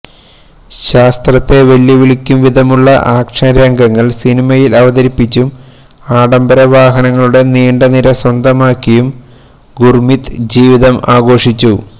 ശാസ്ത്രത്തെ വെല്ലുവിളിക്കും വിധമുള്ള ആക്ഷൻ രംഗങ്ങൾ സിനിമയിൽ അവതരിപ്പിച്ചും ആഡംബര വാഹനങ്ങളുടെ നീണ്ടനിര സ്വന്തമാക്കിയും ഗുർമീത് ജീവിതം ആഘോഷിച്ചു